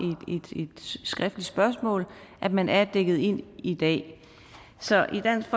et skriftligt spørgsmål at man er dækket ind i dag så i dansk